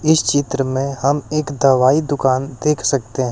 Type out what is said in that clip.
इस चित्र में हम एक दवाई दुकान देख सकते है।